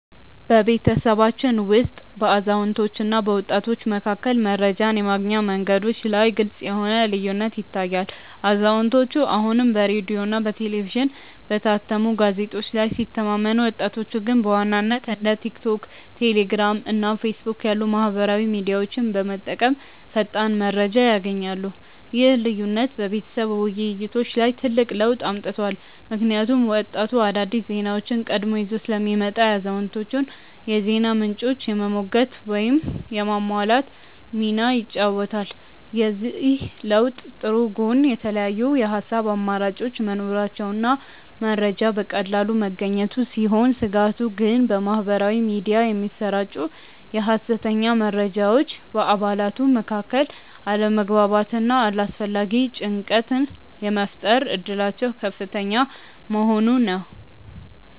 በቤተሰባችን ውስጥ በአዛውንቶችና በወጣቶች መካከል መረጃን የማግኛ መንገዶች ላይ ግልጽ የሆነ ልዩነት ይታያል፤ አዛውንቶቹ አሁንም በሬዲዮ፣ በቴሌቪዥንና በታተሙ ጋዜጦች ላይ ሲተማመኑ፣ ወጣቶቹ ግን በዋናነት እንደ ቲክቶክ፣ ቴሌግራም እና ፌስቡክ ያሉ ማኅበራዊ ሚዲያዎችን በመጠቀም ፈጣን መረጃ ያገኛሉ። ይህ ልዩነት በቤተሰብ ውይይቶች ላይ ትልቅ ለውጥ አምጥቷል፤ ምክንያቱም ወጣቱ አዳዲስ ዜናዎችን ቀድሞ ይዞ ስለሚመጣ የአዛውንቶቹን የዜና ምንጮች የመሞገት ወይም የማሟላት ሚና ይጫወታል። የዚህ ለውጥ ጥሩ ጎን የተለያዩ የሐሳብ አማራጮች መኖራቸውና መረጃ በቀላሉ መገኘቱ ሲሆን፣ ስጋቱ ግን በማኅበራዊ ሚዲያ የሚሰራጩ የሐሰተኛ መረጃዎች በአባላቱ መካከል አለመግባባትና አላስፈላጊ ጭንቀት የመፍጠር እድላቸው ከፍተኛ መሆኑ ነው።